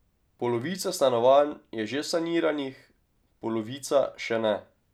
Polovica stanovanj je že saniranih, polovica še ne.